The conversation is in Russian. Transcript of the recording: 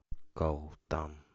калтан